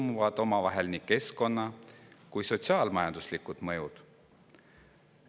Omavahel põimuvad nii keskkonna- kui ka sotsiaal-majanduslikud mõjud.